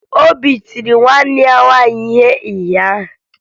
Obi tiri nwanne ya nwaanyị ihe ụnyaahụ.